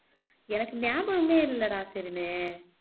எனக்கு ஞாபகமே இல்லடா ஷெரினு